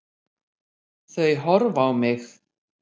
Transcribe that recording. Þau horfa á mig.